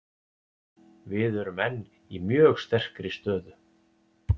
Við erum enn í mjög sterkri stöðu.